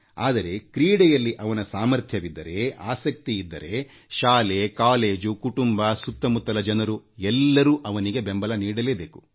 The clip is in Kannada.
ಆದರೆ ಕ್ರೀಡೆಯಲ್ಲಿ ಅವರಿಗೆ ಸಾಮರ್ಥ್ಯವಿದ್ದರೆ ಆಸಕ್ತಿಯಿದ್ದರೆ ಅದನ್ನು ಪ್ರೋತ್ಸಾಹಿಸಲೇಬೇಕು ಮತ್ತು ಶಾಲೆ ಕಾಲೇಜುಗಳು ಕುಟುಂಬದವರು ಮತ್ತು ಅವರ ಸುತ್ತ ಇರುವ ಜನರು ಅವರನ್ನು ಉತ್ತೇಜಿಸಬೇಕುಬೆಂಬಲಿಸಬೇಕು